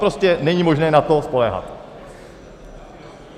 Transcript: Prostě není možné na to spoléhat.